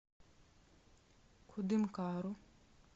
кудымкару